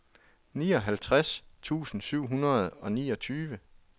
nioghalvtreds tusind syv hundrede og niogtyve